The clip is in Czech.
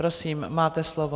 Prosím, máte slovo.